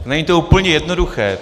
Není to úplně jednoduché.